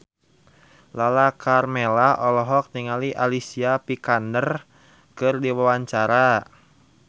Lala Karmela olohok ningali Alicia Vikander keur diwawancara